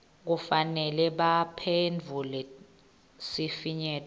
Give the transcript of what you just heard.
kufanele baphendvule sifinyeto